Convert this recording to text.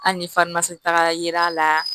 Hali ni farimasi tagara yer'a la